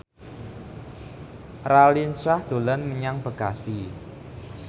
Raline Shah dolan menyang Bekasi